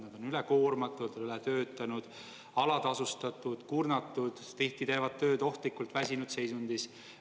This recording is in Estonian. Nad on üle koormatud, üle töötanud, alatasustatud, kurnatud, tihti teevad tööd ohtlikult väsinud seisundis.